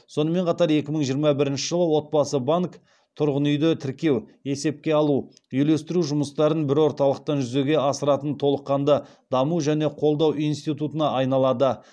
сонымен қатар екі мың жиырма бірінші жылы отбасы банк тұрғын үйді тіркеу есепке алу үйлестіру жұмыстарын бір орталықтан жүзеге асыратын толыққанды даму және қолдау институтына айналады